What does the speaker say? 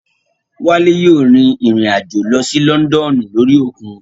Wálé yóò rìn rìn àjò lọ sí Lọ́ndọ̀nù lórí òkun